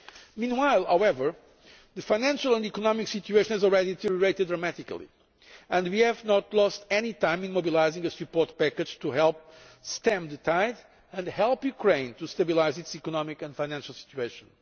Meanwhile, however, the financial and economic situation has already deteriorated dramatically, and we have not lost any time in mobilising a support package to help stem the tide and help Ukraine to stabilise its economic and financial situation.